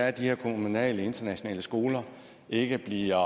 at de her kommunale internationale skoler ikke bliver